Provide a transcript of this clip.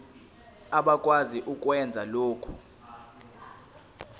abakwazi ukwenza lokhu